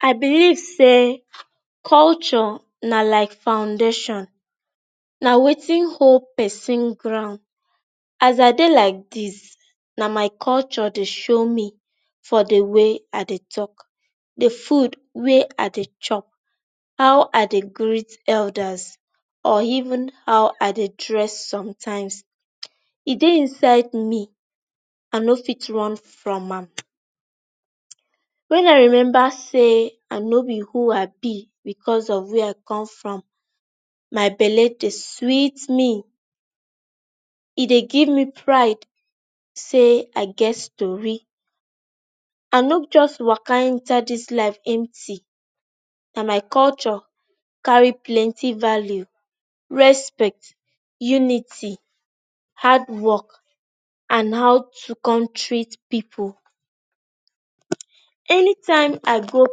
i believe say culture na like foundation. na wetin hold person ground. As i dey like this na my culture dey show me for the way i dey talk, the food wey i dey chop, how i dey greet elders, or even how I dey dress sometimes. e dey inside me, i no fit run from am. when i remember say i no be who i be because of were i come from, my belle dey sweet me. e dey give me pride say i get stori. i no just waka enter inside this life empty. na my culture carry plentY value, respect, unity, hardwork and how to con treat people. anytime i go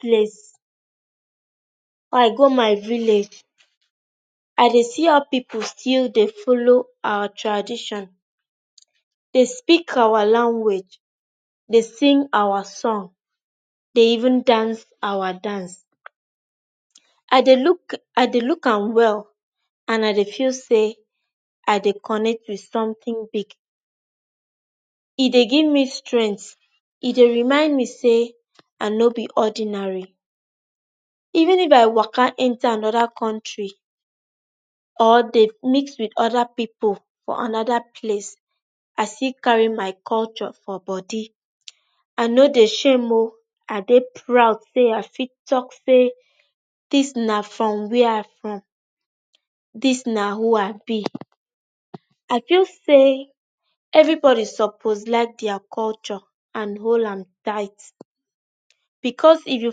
place, or i go my village, i dey see how people still dey follow our tradition. They speak our language, dey sing our son, dey even dance our dance, i dey look, i dey look am well and i dey feel say i dey coonnect with something big. E dey gimme strength, e dey remind me say I no be ordinary. Even if i waka enter another country or dey mix with other people for another place, i still carry my culture for body. i no dey shame oo i dey proud say i fiit talk say, this na from where i from. this na who i be. I feel say every body suppose like their culture and hol am tight becasue if you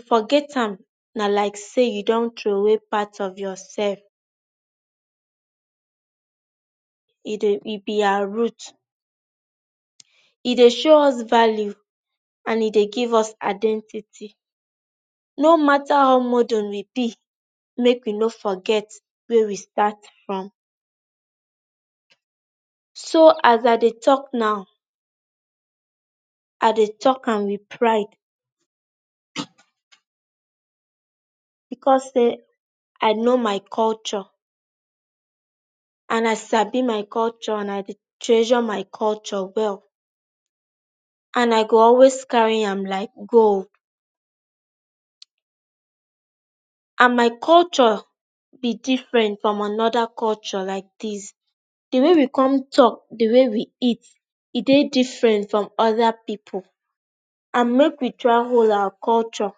forget am na like say you dun throway part of yourself e dey e be our root. e dey show us value and e dey give us identity. no matter how modern we be, make we no forget where we start from so as i dey talk now, i dey talk am with pride because say i know my culture and i sabi my culture and i dey treasure my culture well and i go always carry am like gold and my culture be different from another culture like this, the way we com talk the way way we eqta e dey different from other people and make we try hol our culture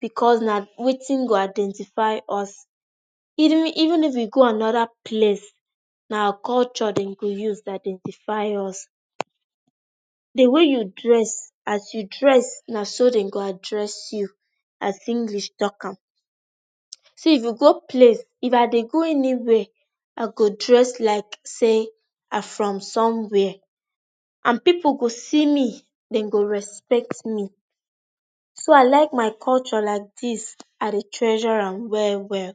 because na wetin go identify us eden even if we go another place na our culture dem go use identify us. the way you dress as you dress na so dem go address you as english talk am. See if you go place if i dey go anywhere i go dress like say i from somewhere and people go see me, dem go respect me. so i like my culture like this i dey treasure am well well.